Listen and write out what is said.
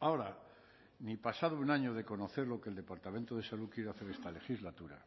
ahora ni pasado un año de conocer lo que el departamento de salud quiere hacer esta legislatura